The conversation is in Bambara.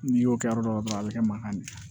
N'i y'o kɛ yɔrɔ dɔ la dɔrɔn a bɛ kɛ mankan min ye